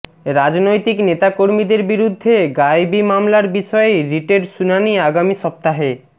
রাজনৈতিক নেতাকর্মীদের বিরুদ্ধে গায়েবি মামলার বিষয়ে রিটের শুনানি আগামী সপ্তাহে